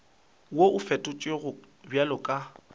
wo o fetotšwego bjalo ka